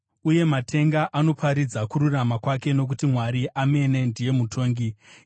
Uye matenga anoparidza kururama kwake, nokuti Mwari amene ndiye mutongi. Sera